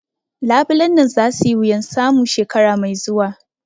Labulen nan za su yi wuyan samu shekara mai zuwa